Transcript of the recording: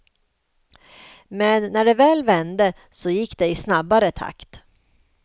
Men när det väl vände så gick det i snabbare takt.